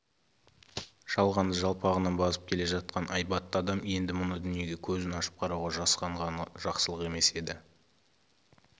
жалғанды жалпағынан басып келе жатқан айбатты адам енді мына дүниеге көзін ашып қарауға жасқанғаны жақсылық емес еді